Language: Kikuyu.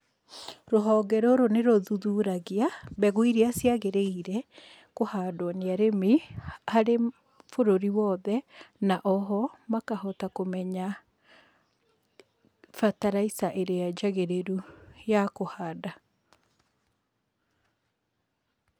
Rũhonge rũrũ nĩ rũthuthuragia mbegũ iria ciagĩrĩire nĩ kũhandwo nĩ arĩmi harĩ bũrũri wothe, na o ho makahota kũmenya bataraica ĩrĩa njagĩrĩru ya kũhanda.